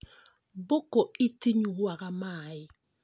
Mbũkũ itinyuaga maĩ